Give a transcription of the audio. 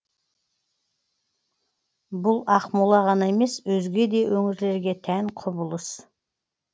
бұл ақмола ғана емес өзге де өңірлерге тән құбылыс